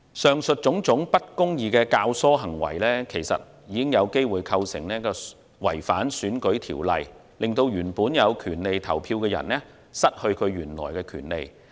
以上種種不公義的教唆行為，其實已有機會構成違反選舉法例，令原本有權利投票的人失去其原有的權利。